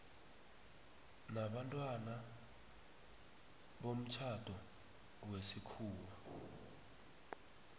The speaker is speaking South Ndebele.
nabantwana bomtjhado wesikhuwa